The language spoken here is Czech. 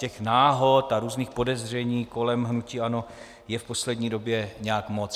Těch náhod a různých podezření kolem hnutí ANO je v poslední době nějak moc.